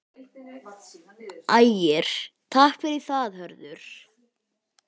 Ægir: Takk fyrir það Hörður.